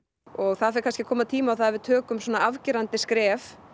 og það fer kannski að koma tími á að við tökum afgerandi skref